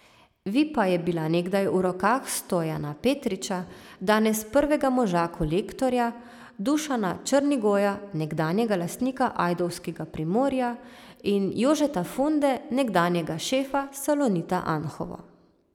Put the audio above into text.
Vipa je bila nekdaj v rokah Stojana Petriča, danes prvega moža Kolektorja, Dušana Črnigoja, nekdanjega lastnika ajdovskega Primorja, in Jožeta Funde, nekdanjega šefa Salonita Anhovo.